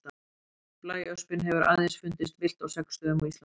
Blæöspin hefur aðeins fundist villt á sex stöðum á Íslandi.